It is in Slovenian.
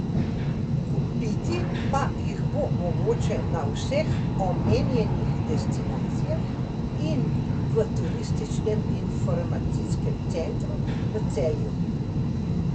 Kupiti pa jih bo mogoče na vseh omenjenih destinacijah in v turističnem informacijskem centru v Celju.